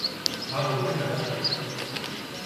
हा बिल्कुल, मैडमु।